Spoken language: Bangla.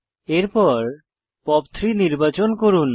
এরপর পপ 3 নির্বাচন করুন